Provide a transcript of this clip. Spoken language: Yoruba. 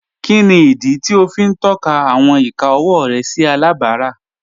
Kíni idí tí o fi n tọka awọn ìkà ọwọ rẹ sí alábárá?